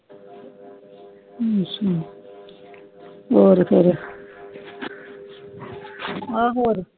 ਅੱਛਾ ਹੋਰ ਕਰੋ ਆ ਹੋਰ ਕਿ